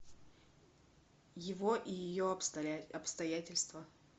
его и ее обстоятельства